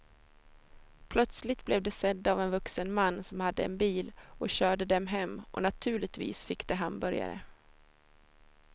Plötsligt blev de sedda av en vuxen man som hade en bil och körde dem hem och naturligtvis fick de hamburgare.